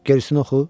Gerisini oxu.